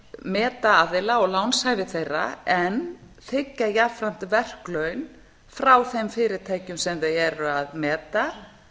meta aðila og lánshæfi þeirra en þiggja jafnframt verklaun frá þeim fyrirtækjum sem þau eru að meta